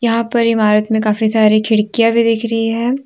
यहां पर इमारत में काफी सारी खिड़कियां भी दिख रही हैं।